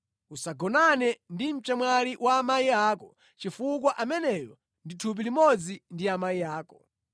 “ ‘Usagonane ndi mchemwali wa amayi ako chifukwa ameneyo ndi thupi limodzi ndi amayi ako.